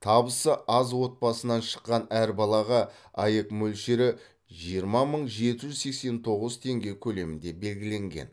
табысы аз отбасынан шыққан әрбір балаға аәк мөлшері жиырма мың жеті жүз сексен тоғыз теңге көлемінде белгіленген